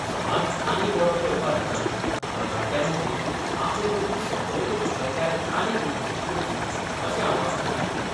समाज आनी बरो करपा हेतान तरणाट्यां मदीं आपले मदली संपर्क कुशळटाय आनीक विकसीत करची अशें आवाहन तांणी केलें.